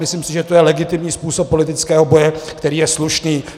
Myslím si, že to je legitimní způsob politického boje, který je slušný.